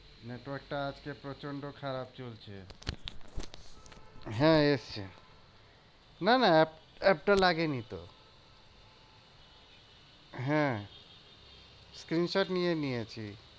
Network টা আজকে প্রচন্ড খারাপ চলছে। হ্যাঁ এসেছে না না app app টা লাগেনিতো। হ্যাঁ screenshot নিয়ে নিয়েছি।